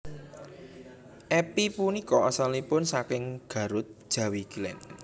Epy punika asalipun saking Garut Jawi Kilèn